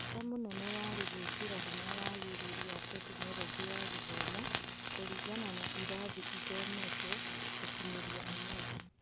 Bata mũnene warĩ gũĩkĩra hinya wagĩrĩru wa Tekinoronjĩ ya Gĩthomo kũringana na irathi ithometwo gũkinyĩria ũmũthĩ.